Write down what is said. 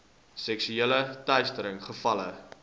seksuele teistering gevalle